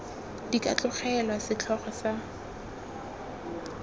di ka tlogelwa setlhogo sa